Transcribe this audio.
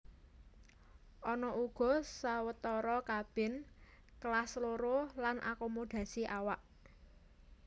Ana uga sawetara kabin Kelas Loro lan akomodasi awak